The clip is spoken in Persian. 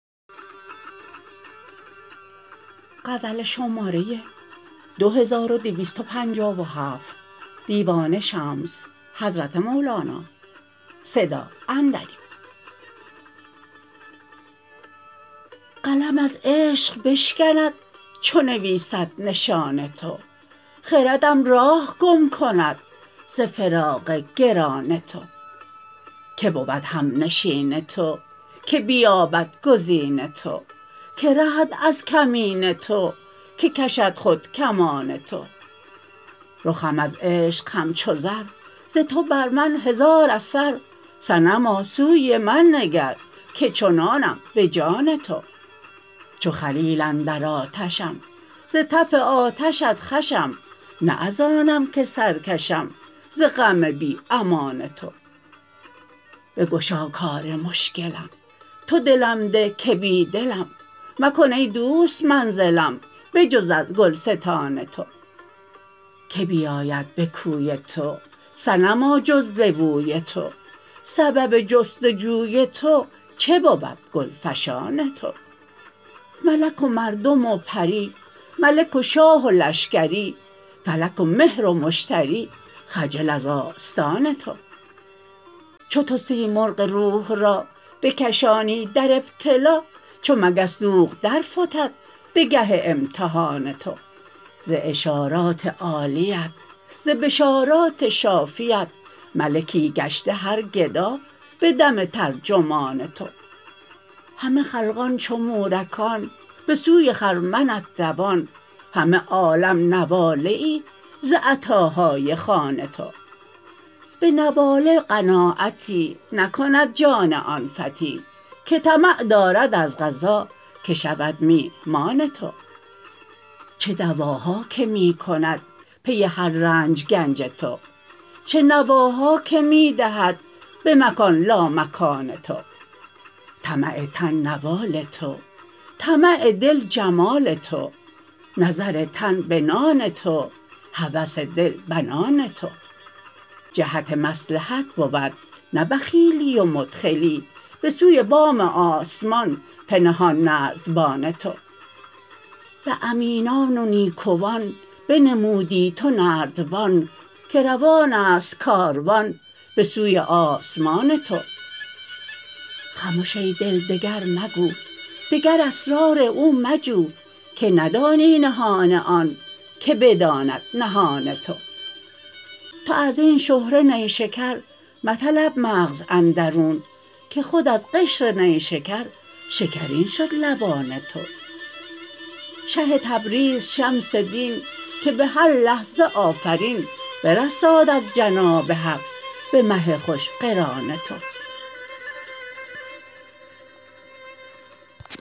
قلم از عشق بشکند چو نویسد نشان تو خردم راه گم کند ز فراق گران تو کی بود همنشین تو کی بیابد گزین تو کی رهد از کمین تو کی کشد خود کمان تو رخم از عشق همچو زر ز تو بر من هزار اثر صنما سوی من نگر که چنانم به جان تو چو خلیل اندر آتشم ز تف آتشت خوشم نه از آنم که سر کشم ز غم بی امان تو بگشا کار مشکلم تو دلم ده که بی دلم مکن ای دوست منزلم به جز از گلستان تو کی بیاید به کوی تو صنما جز به بوی تو سبب جست و جوی تو چه بود گلفشان تو ملک و مردم و پری ملک و شاه و لشکری فلک و مهر و مشتری خجل از آستان تو چو تو سیمرغ روح را بکشانی در ابتلا چو مگس دوغ درفتد به گه امتحان تو ز اشارات عالیت ز بشارات شافیت ملکی گشته هر گدا به دم ترجمان تو همه خلقان چو مورکان به سوی خرمنت دوان همه عالم نواله ای ز عطاهای خوان تو به نواله قناعتی نکند جان آن فتی که طمع دارد از قضا که شود میهمان تو چه دواها که می کند پی هر رنج گنج تو چه نواها که می دهد به مکان لامکان تو طمع تن نوال تو طمع دل جمال تو نظر تن بنام تو هوس دل بنان تو جهت مصلحت بود نه بخیلی و مدخلی به سوی بام آسمان پنهان نردبان تو به امینان و نیکوان بنمودی تو نردبان که روان است کاروان به سوی آسمان تو خمش ای دل دگر مگو دگر اسرار او مجو که ندانی نهان آن که بداند نهان تو تو از این شهره نیشکر مطلب مغز اندرون که خود از قشر نیشکر شکرین شد لبان تو شه تبریز شمس دین که به هر لحظه آفرین برساد از جناب حق به مه خوش قران تو